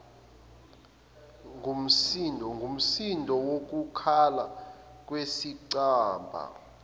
ngumsindo wokukhala kwesicabha